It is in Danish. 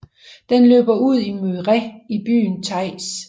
Den løber ud i Mureș i byen Teiuş